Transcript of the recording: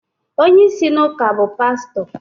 onye isi n’ụka bụ pastọ